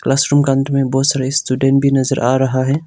Classroom का अंदर में बहुत सारा स्टूडेंट भी नजर आ रहा है।